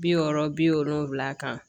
Bi wɔɔrɔ bi wolonwula kan